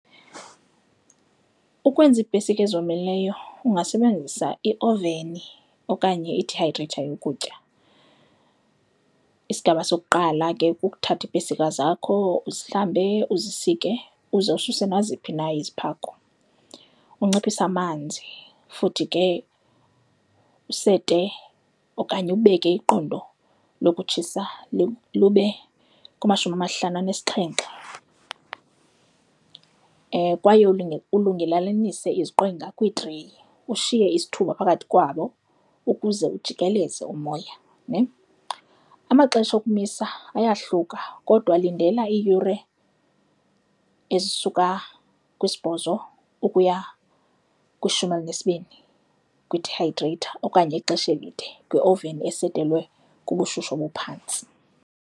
Ukwenza iipesika ezomileyo ungasebenzisa ioveni okanye ithayitreyitha yokutya. Isigaba sokuqala ke kukuthatha iipesika zakho uzihlambe, uzisike, uze ususe naziphi na iziphako. Unciphise amanzi futhi ke usete okanye ubeke iqondo lokutshisa lube kumashumi amahlanu anesixhenxe kwaye ulungelanise iziqwenga kwiitreyi, ushiye isithuba phakathi kwabo ukuze ujikeleze umoya nhe. Amaxesha okumisa ayahluka kodwa lindela iiyure ezisuka kwisibhozo ukuya kwishumi elinesibini kwidihayidreyitha okanye ixesha elide kwioveni esetelwe kubushushu obuphantsi.